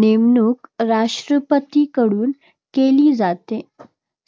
नेमणूक राष्ट्रपतीकडून केली जाते.